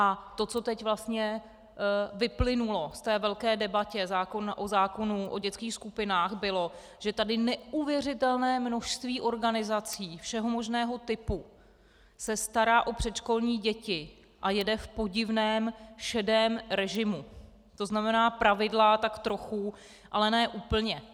A to, co teď vlastně vyplynulo v té velké debatě o zákonu o dětských skupinách, bylo, že tady neuvěřitelné množství organizací všeho možného typu se stará o předškolní děti a jede v podivném šedém režimu, to znamená pravidla tak trochu, ale ne úplně.